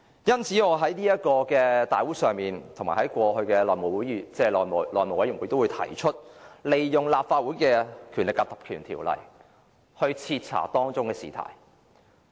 因此，我在立法會大會及過去的內務委員會都提出引用《立法會條例》徹查這事件。